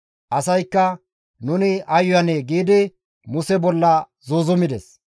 Asaykka, «Nuni ay uyanee?» giidi Muse bolla zuuzumides.